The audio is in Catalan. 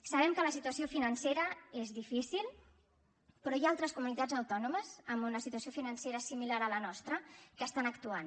sabem que la situació financera és difícil però hi ha altres comunitats autònomes amb una situació financera similar a la nostra que estan actuant